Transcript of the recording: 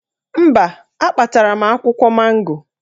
Mba, akpatara m akwụkwọ mango